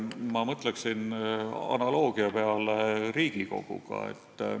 Ma mõtleksin analoogiale Riigikoguga.